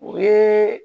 O ye